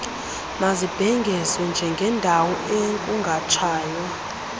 mazibhengezwe njengeendawo ekungatshaywa